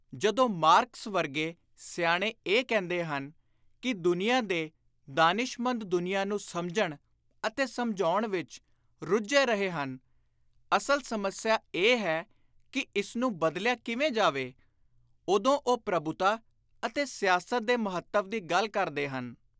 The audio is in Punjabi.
ਜਦੋਂ ਮਾਰਕਸ ਵਰਗੇ ਸਿਆਣੇ ਇਹ ਕਹਿੰਦੇ ਹਨ ਕਿ ‘ਦੁਨੀਆਂ ਦੇ ਦਾਨਿਸ਼ਮੰਦ ਦੁਨੀਆਂ ਨੂੰ ਸਮਝਣ ਅਤੇ ਸਮਝਾਉਣ ਵਿਚ ਰੁੱਝੇ ਰਹੇ ਹਨ; ਅਸਲ ਸਮੱਸਿਆ ਇਹ ਹੈ ਕਿ ਇਸਨੂੰ ਬਦਲਿਆ ਕਿਵੇਂ ਜਾਵੇ’ ਉਦੋਂ ਉਹ ਪ੍ਰਭੁਤਾ ਅਤੇ ਸਿਆਸਤ ਦੇ ਮਹੱਤਵ ਦੀ ਗੱਲ ਕਰਦੇ ਹਨ।